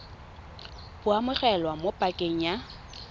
bo amogelwa mo pakeng ya